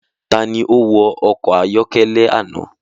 Tani ó wa ọkọ̀ ayọ́kẹ́lẹ́ àná?